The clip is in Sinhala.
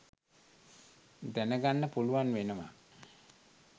දැනගන්න පුලුවන් වෙනවා.